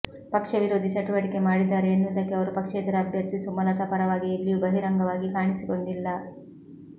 ಪಕ್ಷ ವಿರೋಧಿ ಚಟುವಟಿಕೆ ಮಾಡಿದ್ದಾರೆ ಎನ್ನುವುದಕ್ಕೆ ಅವರು ಪಕ್ಷೇತರ ಅಭ್ಯರ್ಥಿ ಸುಮಲತಾ ಪರವಾಗಿ ಎಲ್ಲಿಯೂ ಬಹಿರಂಗವಾಗಿ ಕಾಣಿಸಿಕೊಂಡಿಲ್ಲ